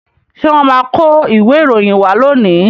Ṣé wọ́n máa kó ìwé ìròyìn wá lónìí?